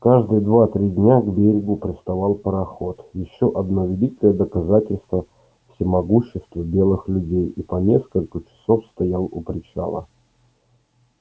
каждые два три дня к берегу приставал пароход ещё одно великое доказательство всемогущества белых людей и по нескольку часов стоял у причала